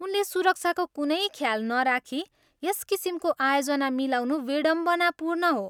उनले सुरक्षाको कुनै ख्याल नराखी यस किसिमको आयोजना मिलाउनु बिडम्बनापूर्ण हो।